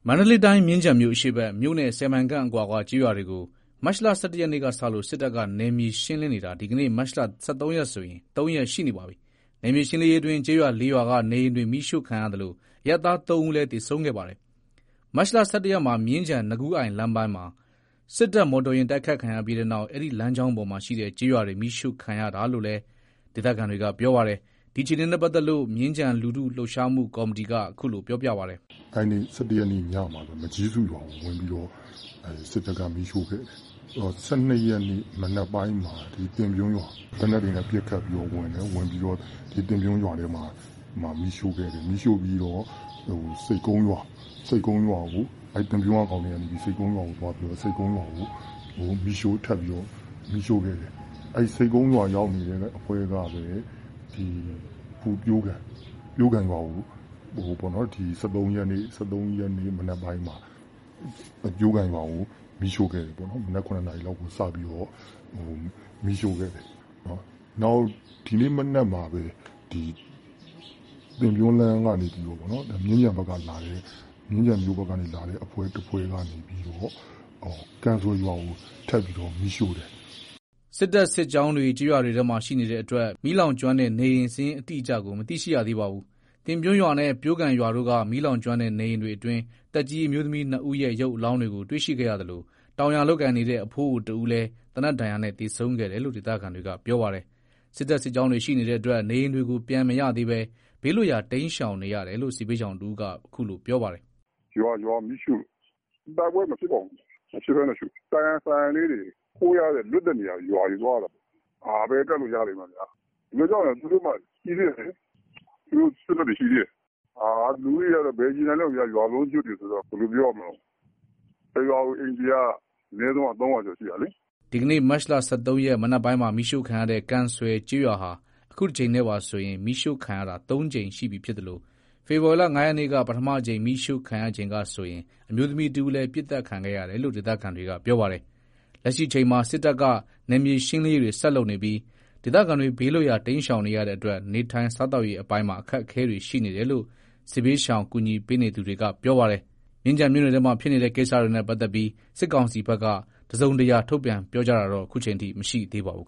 မန္တလေးတိုင်း မြင်းခြံမြို့အရှေ့ဘက်၊ မြို့နဲ့ ၁၀ မိုင်ခန့်အကွာက ကျေးရွာတွေဘက်ကို မတ်လ ၁၁ ရက်ကစလို့ စစ်တပ်က နယ်မြေ ရှင်းလင်းနေတာ ဒီကနေ့ မတ်လ ၁၃ ရက်ဆို ၃ ရက်ရှိနေပါပြီ။ နယ်မြေရှင်းလင်းရေးအတွင်း ကျေးရွာ ၄ ရွာက နေအိမ်တွေ မီးရှို့ခံရသလို အရပ်သား ၃ ဦးလည်း သေဆုံးခဲ့ပါတယ်။ မတ်လ ၁၁ ရက်မှာ မြင်းခြံ နွားကူးအိုင် လမ်းပိုင်းမှာ စစ်တပ်ကား တိုက်ခိုက်ခံရပြီးတဲ့နောက် အဲ့ဒီလမ်းကြောင်းပေါ်မှာရှိတဲ့ ကျေးရွာတွေမီးရှို့ခံရတာလို့လည်း ဒေသခံတွေက ပြောပါတယ်။ ဒီအခြေအနေနဲ့ပတ်သက်လို့ မြင်းခြံလူထု လှုပ်ရှားမှုကော်မတီက အခုလို ပြောပြပါတယ်။ “အဲ့နေ့ ၁၁ ရက်နေ့ ညမှာပဲ စစ်တပ်က မကျီးစုရွာကို မီးရှို့ခဲ့တယ်။ ၁၂ ရက်နေ့ မနက်ပိုင်းမှာ သင်ပြွန်းရွာ သေနတ်တွေနဲ့ ပစ်ခတ်ပြီးတော့ ဝင်တယ်။ ဝင်ပြီးတော့ သင်ပြွန်းရွာထဲမှာ မီးရှို့ခဲ့တယ်။ မီးရှို့ပြီးတော့ ဆိပ်ကုန်းရွာကို သင်ပြွန်းရွာက ကောင်တွေက ဆိပ်ကုန်းရွာကိုသွားပြီးတော့ မီးရှို့ခဲ့တယ်။ အဲ့ဆိပ်ကုန်းရွာရောက်နေတဲ့ အဖွဲ့ကပဲ အခု ပျိုးကန် ၁၃ ရက်နေ့ မနက်ပိုင်းမှာ ပျိုးကန်ရွာကို မီးရှို့ခဲ့တယ်ပေါ့။ မနက် ၇ နာရီလောက်မှာ စပြီးမီးရှို့ခဲ့တယ်။ ဒီနေ့မနက်မှာပဲ သင်ပြွန်းလမ်းကနေလာပြီး မြင်းခြံဘက်က လာတဲ့ အဖွဲ့ တဖွဲ့က ကန်ဆွယ်ရွာကို ထပ်ပြီးတော့ မီးရှို့တယ်။” စစ်တပ်စစ်ကြောင်းတွေ ကျေးရွာတွေထဲမှာ ရှိနေတဲ့အတွက် မီးလောင်ကျွမ်းတဲ့နေအိမ် စာရင်းအတိအကျကို မသိရှိရသေးပါဘူး။ သင်ပြွန်းရွာနဲ့ ပျိုးကန်ရွာတို့က မီးလောင်ကျွမ်းတဲ့ နေအိမ်တွေအတွင်း သက်ကြီး အမျိုးသမီး ၂ ဦးရဲ့ ရုပ်အလောင်းတွေကို တွေ့ရှိခဲ့ရသလို တောင်ယာ လုပ်ကိုင်နေတဲ့ အဖိုးအိုတဦးလည်း သေနတ်ဒဏ်ရာနဲ့ သေဆုံးခဲ့တယ်လို့ ဒေသခံတွေက ပြောပါတယ်။ စစ်တပ်စစ်ကြောင်းတွေ ရှိနေတဲ့အတွက် နေအိမ်တွေကို ပြန်မရသေးဘဲ ဘေးလွတ်ရာ တိမ်းရှောင်နေရတယ်လို့ စစ်ဘေးရှောင်တဦးက အခုလို ပြောပါတယ်။ “ရွာကိုမီးရှို့လို့။ တိုက်ပွဲမဖြစ်ပါဘူး။ မဖြစ်ဘဲနဲ့ရှို့တာ။ ဆိုင်ရာဆိုင်ရာတွေ ခိုလို့ရတဲ့လွတ်တဲ့နေရာတွေ သွားရတာပေါ့။ ဘယ်ကပ်လို့ရလိမ့်မလည်း ဘယ်လိုကြောင့်လည်းဆိုတော့ သူတို့က အဲ့မှာ ရှိသေးတယ်လေ။ သူတို့ စစ်တပ်တွေရှိသေးတယ်။ လူဦးရေက ဘယ်ရေနိုင်လိမ့်မလည်း ရွာလုံးကျွတ်တွေ ဆိုတော့ တရွာတရွာ အိမ်ခြေက ၃၀၀ ကျော်ရှိတာလေ။” ဒီကနေ့ မတ်လ ၁၃ ရက် မနက်ပိုင်းမှာ မီးရှို့ခံရတဲ့ ကန်ဆွယ်ကျေးရွာဟာ အခုတကြိမ်နဲ့ပါဆို မီးရှို့ခံရတာ ၃ ကြိမ်ရှိပြီဖြစ်သလို ဖေဖော်ဝါရီ ၅ ရက်က ပထမအကြိမ် မီးရှို့ခံခဲ့ရချိန်ကဆိုရင် အမျိုးသမီးတဦးလည်း ပစ်သတ်ခံခဲ့ရတယ်လို့ ဒေသခံတွေက ပြောပါတယ်။ လက်ရှိအချိန်မှာ စစ်တပ်က နယ်မြေရှင်းလင်းရေးတွေဆက်လုပ်နေပြီး ဒေသခံတွေ ဘေးလွတ်ရာ တိမ်းရှောင်နေရတဲ့အတွက် နေထိုင် စားသောက်ရေးအပိုင်းမှာ အခက်အခဲတွေရှိနေတယ်လို့ စစ်ဘေးရှောင် ကူညီပေးနေသူတွေက ပြောပါတယ်။ ဒီကိစ္စနဲ့ပတ်သက်လို့ စစ်ကောင်စီဘက်က တစုံတရာ သတင်းထုတ်ပြန်တာ မရှိသေးပါဘူး